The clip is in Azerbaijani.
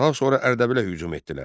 Daha sonra Ərdəbilə hücum etdilər.